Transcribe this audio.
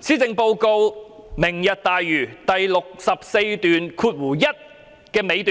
施政報告有關"明日大嶼"的部分，在第641段最後部分指出："